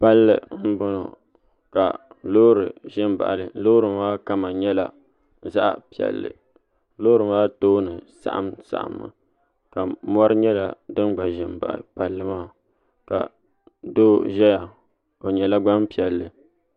Palli n bɔŋɔ ka loori ʒɛ n baɣali loori maa kama nyɛla zaɣ piɛlli loori maa tooni saɣam saɣammi ka mɔri nyɛla din gba ʒi n baɣa palli maa ka doo ʒɛya o nyɛla Gbanpiɛli